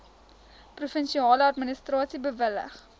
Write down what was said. provinsiale administrasie bewillig